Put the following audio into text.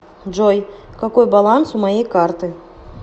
джой какой баланс у моей карты